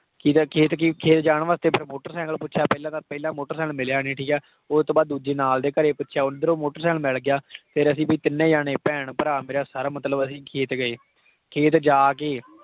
ਖੇਤ ਕੀ ਖੇਤ ਜਾਣ ਵਾਸਤੇ ਫਿਰ ਮੋਟਰ ਸਾਈਕਲ ਪੁੱਛਿਆ ਪਹਿਲਾਂ ਤਾਂ ਪਹਿਲਾਂ ਮੋਟਰ ਸਾਇਕਲ ਮਿਲਿਆ ਨੀ ਠੀਕ ਹੈ, ਉਹ ਤੋਂ ਬਾਅਦ ਦੂਜੇ ਨਾਲ ਦੇ ਘਰੇ ਪੁੱਛਿਆ ਉੱਧਰੋਂ ਮੋਟਰ ਸਾਇਕਲ ਮਿਲ ਗਿਆ ਫਿਰ ਅਸੀਂ ਵੀ ਤਿੰਨੇ ਜਾਣੇ ਭੈਣ ਭਰਾ ਮੇਰਾ sir ਮਤਲਬ ਅਸੀਂ ਖੇਤ ਗਏ ਠੀਕ ਹੈ ਤੇ ਜਾ ਕੇ